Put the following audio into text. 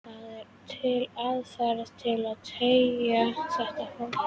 Það er til aðferð til að þekkja þetta fólk.